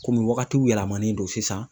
Komi wagati yɛlɛmalen don sisan